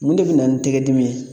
Mun de bi na ni tɛgɛ dimi ye?